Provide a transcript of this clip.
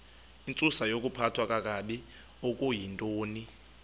intsusayokuphathwa kakabi okuyintoni